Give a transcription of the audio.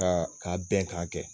Ka ka bɛn ka kɛ.